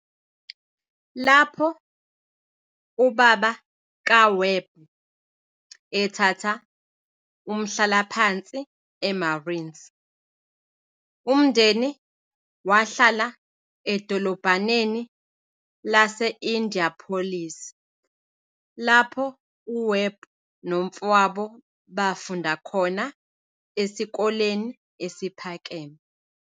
Lapho ubaba kaWebb ethatha umhlalaphansi eMarines, umndeni wahlala edolobhaneni lase- Indianapolis, lapho uWebb nomfowabo bafunda khona esikoleni esiphakeme.